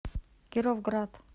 кировград